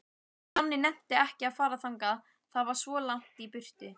Nonni nennti ekki að fara þangað, það var svo langt í burtu.